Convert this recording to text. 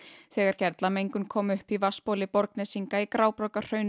þegar kom upp í vatnsbóli Borgnesinga í